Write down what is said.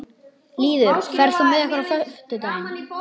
Lýður, ferð þú með okkur á fimmtudaginn?